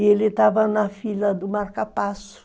E ele estava na fila do marcapasso.